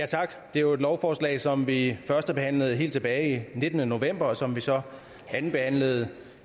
det er jo et lovforslag som vi førstebehandlede helt tilbage den nittende november og som vi så andenbehandlede